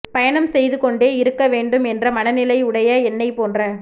பயணம் செய்து கொண்டே இருக்க வேண்டும் என்ற மனநிலை உடைய என்னைப் போன்ற